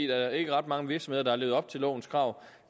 der er ikke ret mange virksomheder levet op til lovens krav